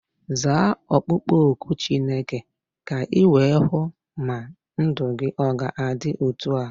Zaa okpukpo oku Chineke ka iwee hụ ma ndụ gị ọ ga-adị otu a.